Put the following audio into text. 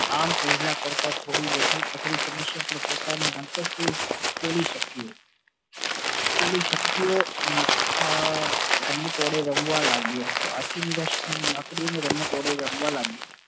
આમ પેહલા કરતા થોડી વધુ પોતાની અંતરસુદ ની શક્તિયો અને લાકડી ની રમત વડે રમવા લાગ્યો